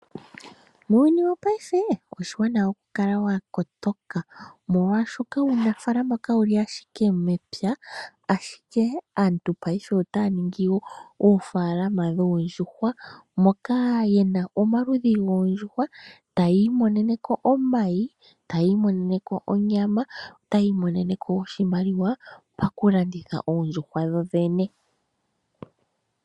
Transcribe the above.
Muuyuni wopaife, oshiwanawa okukala wa kotoka, molwashoka uunafaalama kawu li ashike mepya, ashike aantu paife otaya ningi wo oofaalama dhoondjuhwa, moka ye na omaludhi goondjuhwa, taya imonene ko omayi, taya imonene ko onyama, taya imonene ko oshimaliwa pakulanditha oondjuhwa dho dhene.